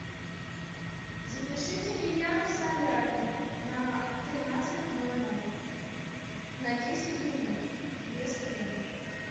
запишите меня в солярий на тринадцать ноль ноль на десять минут без крема